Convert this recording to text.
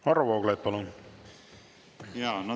Varro Vooglaid, palun!